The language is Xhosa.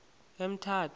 emthatha